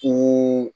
Ko